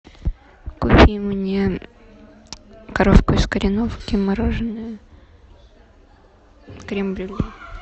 купи мне коровку из кореновки мороженое крем брюле